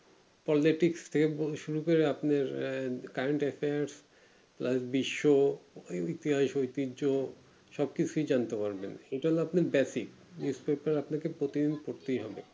politics থেকে শুরু করে আপনার আহ current affairs বিশ্ব ও ইতিহাস ঐতিহ্য সব কিছু জানতে পারবে ওটা আপনার basic আপনাকে প্রতিদিন পড়তেই হবে